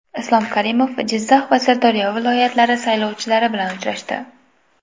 Islom Karimov Jizzax va Sirdaryo viloyatlari saylovchilari bilan uchrashdi.